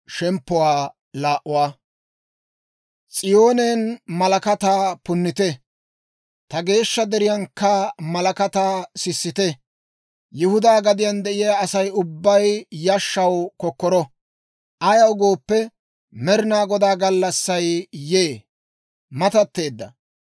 S'iyoonen malakataa punnite; ta geeshsha deriyaankka malakataa sissite! Yihudaa gadiyaan de'iyaa Asay ubbay yashshaw kokkoro; ayaw gooppe, Med'inaa Godaa gallassay yee; matatteedda.